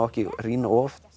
ekki rýna of